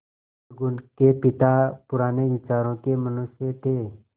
अलगू के पिता पुराने विचारों के मनुष्य थे